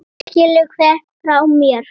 Skilaðu kveðju frá mér.